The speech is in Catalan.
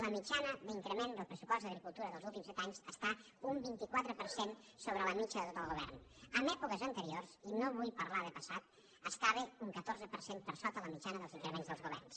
la mitjana d’increment del pressupost d’agricultura dels últims set anys està un vint quatre per cent sobre la mitjana de tot el govern en èpoques anteriors i no vull parlar de passat estava un catorze per cent per sota la mitjana dels increments dels governs